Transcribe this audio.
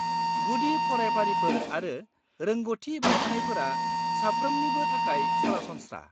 -गुदि फरायफारिफोर आरो रोंग'थि बांहोनायफोरा साफ्रोमनिबो थाखाय सरासनस्रा।